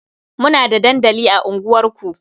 Muna da dandali a unguwarku.